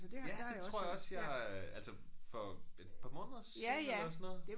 Ja det tror jeg også jeg øh ja altså for et par måneder siden eller sådan noget